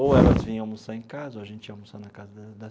Ou elas vinham almoçar em casa, ou a gente ia almoçar na casa da das.